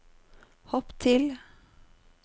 hopp til